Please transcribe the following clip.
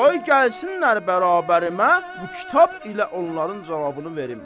Qoy gəlsinlər bərabərimə bu kitab ilə onların cavabını verim.